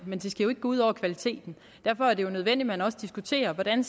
men det skal jo ikke gå ud over kvaliteten derfor er det jo nødvendigt at man også diskuterer hvordan